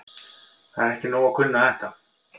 Það er ekki nóg að kunna þetta.